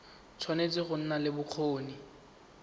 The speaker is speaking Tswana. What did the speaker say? tshwanetse go nna le bokgoni